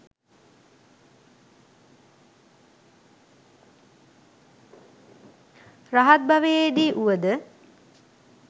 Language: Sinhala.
රහත් භවයේදී වුවද